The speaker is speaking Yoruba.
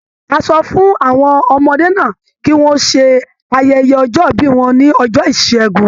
A sọ fún àwọn ọmọdé náà kí wọ́n ṣe ayẹye ọjọ-ìbí wọn ní ọjọ́ Ìṣẹ́gun.